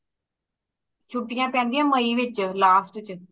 ਛੁਟੀਆਂ ਪੈਂਦੀਆਂ ਮਈ ਵਿੱਚ last ਵਿੱਚ